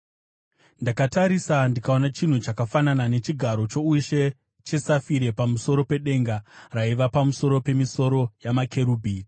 Ndakatarisa, ndikaona chinhu chakafanana nechigaro choushe chesafire pamusoro pedenga raiva pamusoro pemisoro yamakerubhimi.